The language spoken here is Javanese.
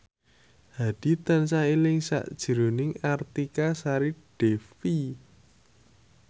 Hadi tansah eling sakjroning Artika Sari Devi